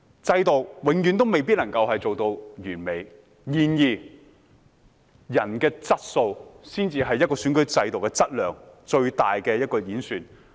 制度永遠未必能夠做到完美；然而，人的質素才是一個選舉制度的質量最大的一個演示。